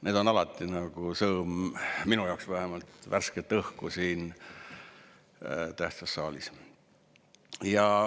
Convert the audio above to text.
Need on alati, minu jaoks vähemalt, nagu sõõm värsket õhku siin tähtsas saalis.